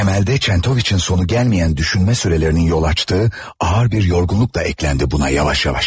Temeldə Çentoviç'in sonu gəlməyən düşünmə sürələrinin yol açdığı ağır bir yorğunluq da ekləndi buna yavaş-yavaş.